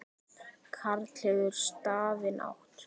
Karl hefur stafinn átt.